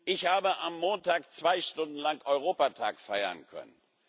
Ich habe am Montag zwei Stunden lang Europatag feiern können.